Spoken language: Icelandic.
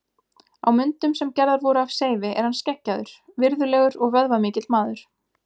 Á myndum sem gerðar voru af Seifi er hann skeggjaður, virðulegur og vöðvamikill maður.